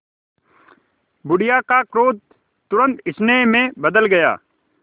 बुढ़िया का क्रोध तुरंत स्नेह में बदल गया